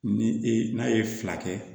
Ni e n'a ye fila kɛ